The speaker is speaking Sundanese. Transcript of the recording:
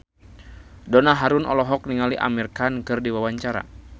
Donna Harun olohok ningali Amir Khan keur diwawancara